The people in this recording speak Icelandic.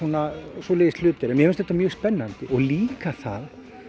svoleiðis hlutir en mér finnst þetta mög spennandi og líka það